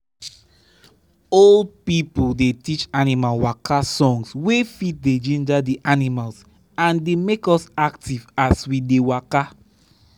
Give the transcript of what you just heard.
old people dey teach animal waka songs wey fit dey ginger the animals and dey make us active as we dey waka.